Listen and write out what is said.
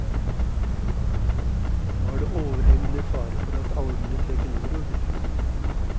Nå er det overhengende fare for at algene trekker nordover.